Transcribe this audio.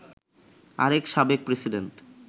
আরেক সাবেক প্রেসিডেন্ট